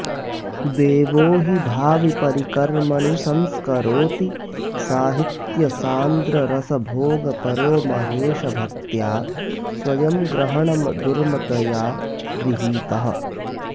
देवो हि भाविपरिकर्मणि संस्करोति साहित्यसान्द्ररसभोगपरो महेशभक्त्या स्वयं ग्रहणदुर्मदया गृहीतः